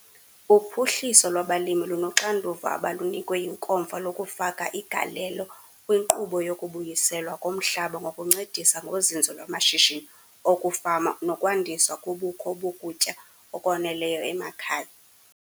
Uphuhliso lwabaLimi lunoxanduva abalunikwe yiNkomfa lokufaka igalelo kwinkqubo yokubuyiselwa komhlaba ngokuncedisa ngozinzo lwamashishini okufama nokwandiswa kobukho bokutya okwaneleyo emakhaya.